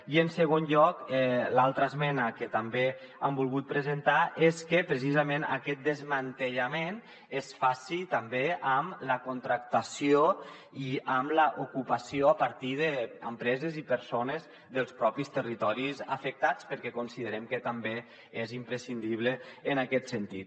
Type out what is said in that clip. i en segon lloc l’altra esmena que també hem volgut presentar és que precisament aquest desmantellament es faci també amb la contractació i amb l’ocupació a partir d’empreses i persones dels propis territoris afectats perquè considerem que també és imprescindible en aquest sentit